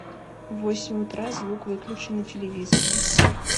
в восемь утра звук выключи на телевизоре